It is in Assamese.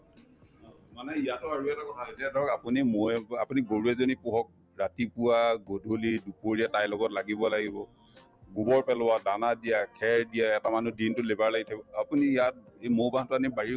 মানে ইয়াতো আৰু এটা কথা আহে যে ধৰক আপুনি মৌয়ে বাহ আপুনি গৰু এজনী পোহক ৰাতিপুৱা গধূলি দুপৰীয়া তাইৰ লগত লাগিব লাগিব গোবৰ পেলোৱা, দানা দিয়া, খেৰ দিয়া এটা মানুহ দিনতো labor লাগি থাকিব আপুনি ইয়াত এই মৌ বাহতো আনি বাৰীৰ